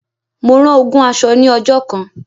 Mo rán ogún aṣọ ní ọjọ́ kan.